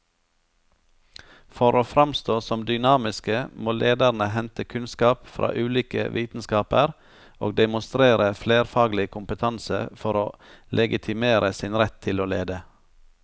For å framstå som dynamiske må lederne hente kunnskap fra ulike vitenskaper og demonstrere flerfaglig kompetanse for å legitimere sin rett til å lede.